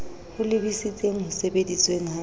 ho lebisitseng ho sebedisweng ha